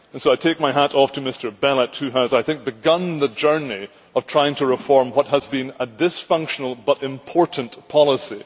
I take my hat off to Mr Belet, who has begun the journey of trying to reform what has been a dysfunctional but important policy.